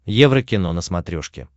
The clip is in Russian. еврокино на смотрешке